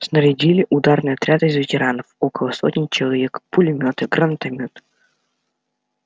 снарядили ударный отряд из ветеранов около сотни человек пулемёты гранатомёты